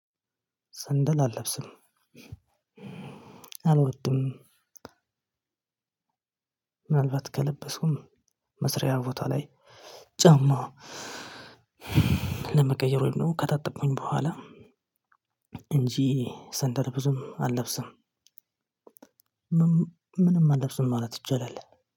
ሰንደል አልለብስም አልወድም። ምን አልባት ከለበስኩም መስሪያ ቦታ ላይ ጫማ ለመቀየር ወይንም ደግሞ ከታጠብኩኝ በኋላ እንጂ ሰንደል ብዙም አልለብስም። ምንም አለብስም ማለት ይቻላል